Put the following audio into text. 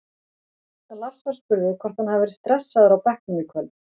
Lars var spurður hvort hann hafi verið stressaður á bekknum í kvöld?